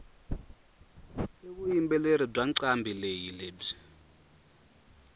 ivuyimbeleri bwancalambileyi lebwi